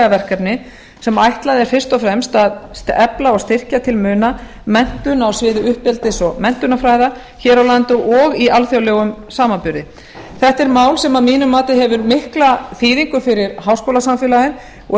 verkefni sem ætlað er fyrst og fremst að efla og styrkja til muna menntun á sviði uppeldis og menntunarfræða hér á landi og í alþjóðlegum samanburði þetta er mál sem að mínu mati hefur mikla þýðingu fyrir háskólasamfélagið og